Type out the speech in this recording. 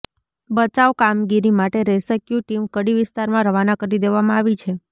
બાચાવ કામગીરી માટે rescue team Kadi વિસ્તારમાં રવાના કરી દેવામાં આવી છે